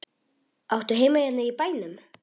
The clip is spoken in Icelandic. Áttu heima hérna í bænum?